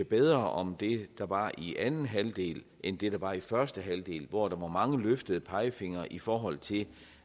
bedre om det der var i anden halvdel end det der var i første halvdel hvor der var mange løftede pegefingre i forhold til